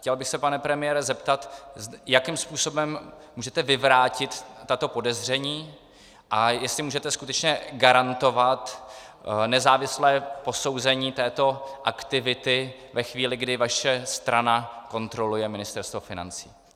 Chtěl bych se, pane premiére, zeptat, jakým způsobem můžete vyvrátit tato podezření a jestli můžete skutečně garantovat nezávislé posouzení této aktivity ve chvíli, kdy vaše strana kontroluje Ministerstvo financí.